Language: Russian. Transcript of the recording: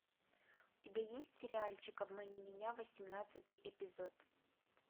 у тебя есть сериальчик обмани меня восемнадцатый эпизод